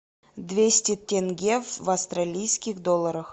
двести тенге в австралийских долларах